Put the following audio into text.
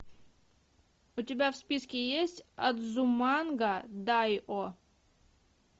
у тебя в списке есть адзуманга дайо